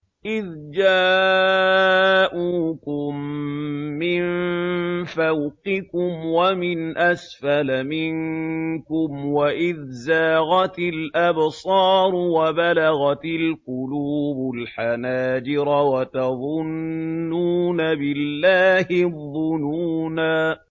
إِذْ جَاءُوكُم مِّن فَوْقِكُمْ وَمِنْ أَسْفَلَ مِنكُمْ وَإِذْ زَاغَتِ الْأَبْصَارُ وَبَلَغَتِ الْقُلُوبُ الْحَنَاجِرَ وَتَظُنُّونَ بِاللَّهِ الظُّنُونَا